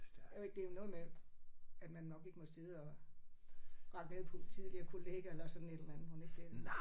Øh det er noget med at man nok ikke må sidde og rakke ned på en tidligere kollega eller sådan et eller andet mon ikke det